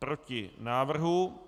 Proti návrhu.